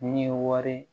Ni ye wari